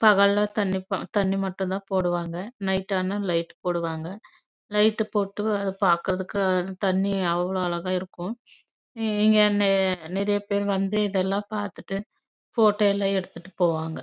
பகல் லே தனி போடுவாங்க நைட் லே லைட் போடுவாங்க பாக்கா நல்ல இருக்கு இங்க நிறைய பேரு வந்து போட்டோ எடுத்துட்டு போவாங்க